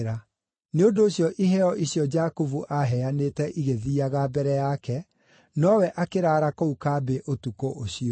Nĩ ũndũ ũcio iheo icio Jakubu aaheanĩte igĩthiiaga mbere yake, nowe akĩraara kũu kambĩ ũtukũ ũcio.